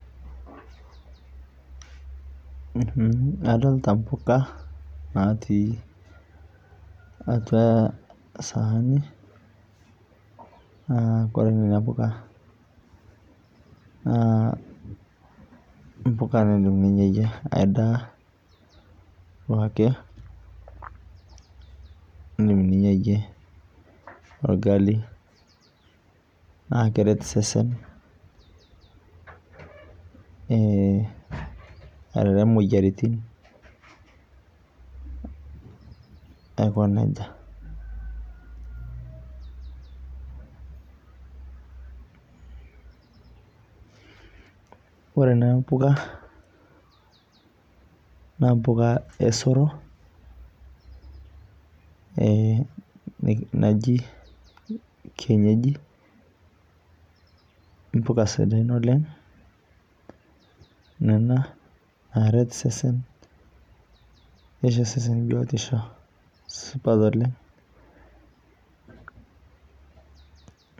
Adolita impoka natii atua esaani. Naa kore nena poka naa mpoka naa indim ninyayie endaa o ake, indim ninyayienolgali na keret iseseni, arere imoyiaritin aiko nejia. Ore ena poka naa impoka osero, naaji kienyeji, impoka sidain oleng' nena naret iseseni neitesesen biotisho supat oleng'.